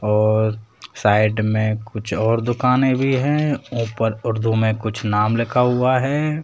और साइड में कुछ और दुकाने भी हैं ऊपर उर्दू में कुछ नाम लिखा हुआ है।